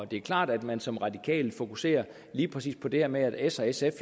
det er klart at man som radikal fokuserer lige præcis på det her med at s og sf